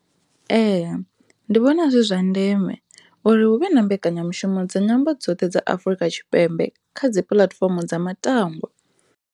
Ee, ndi vhona zwi zwa ndeme uri hu vhe na mbekanyamushumo dza nyambo dzoṱhe dza Afurika Tshipembe kha dzipuḽatifomo dza matangwa.